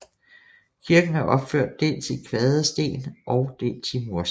Kirken er opført dels i kvadersten og dels i mursten